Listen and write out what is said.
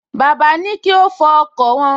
Bàbá ní kí ó fọ ọkọ̀ wọn